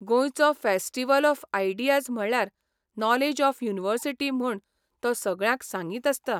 गोंयचो festival of ideas म्हणल्यार knowledge of university म्हूण तो सगळ्यांक सांगीत आसता.